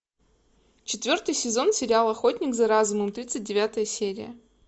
четвертый сезон сериал охотник за разумом тридцать девятая серия